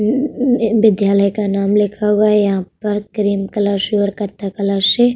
विद्यालय का नाम लिखा हुआ है यहां पर क्रीम कलर से और कत्थे कलर से।